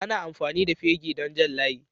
Ana amfani da fegi don Jan layi.